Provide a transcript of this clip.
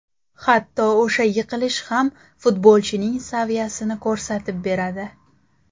Hatto o‘sha yiqilish ham futbolchining saviyasini ko‘rsatib beradi.